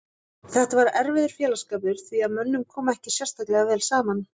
Þetta var erfiður félagsskapur því að mönnum kom ekki sérstaklega vel saman.